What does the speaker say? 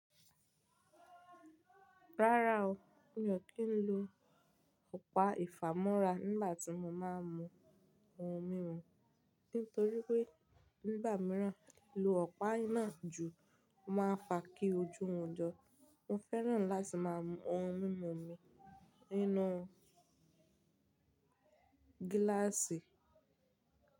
Rárá o, mi ò kí ń lo ọ̀pá ìfámọ́ra nígbà tí mo má ń mu ohun mímu, nítorí pé nígbà míràn lo ọ̀pá iná jù máa ń fa kí ojú hun jọ. Mo fẹ́ràn láti máa mú ohun mímu mi nínú gíláàsì.